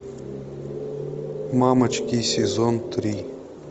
мамочки сезон три